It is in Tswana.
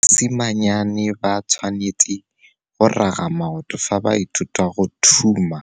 Basimanyane ba tshwanêtse go raga maoto fa ba ithuta go thuma.